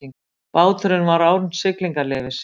Báturinn var án siglingaleyfis